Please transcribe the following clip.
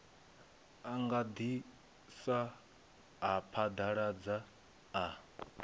a gandisa a phaḓaladza a